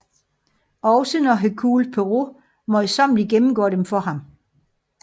Også når Hercule Poirot møjsommeligt gennemgår dem for ham